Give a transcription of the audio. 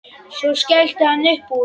Svo skellti hann upp úr.